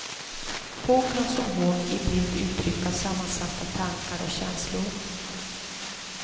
Få kan som hon i bild uttrycka sammansatta tankar och känslor.